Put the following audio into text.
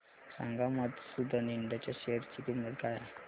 सांगा मधुसूदन इंड च्या शेअर ची किंमत काय आहे